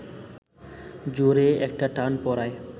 জোরে একটা টান পড়ায়